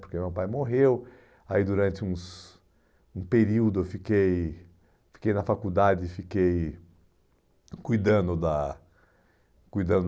Porque meu pai morreu, aí durante uns um período eu fiquei fiquei na faculdade, fiquei cuidando da cuidando